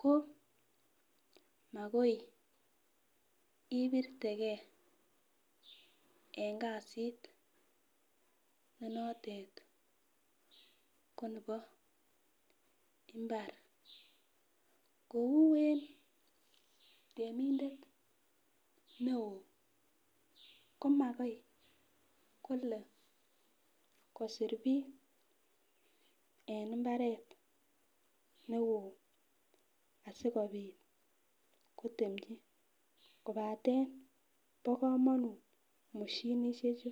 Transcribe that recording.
ko mokoi ibirtegen eng kasit nenotet ko nebo mbar kou eng temindet neo komakoi kole kosir bik eng mbaret neo asikobit kotemji kobaten bo komonut mosinisiechu.